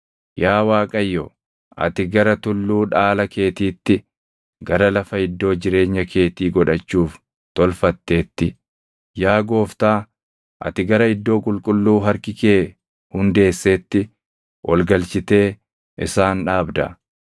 Yaa Waaqayyo, ati gara tulluu dhaala keetiitti, gara lafa iddoo jireenya keetii godhachuuf tolfatteetti, yaa Gooftaa ati gara iddoo qulqulluu harki kee hundeesseetti ol galchitee isaan dhaabda.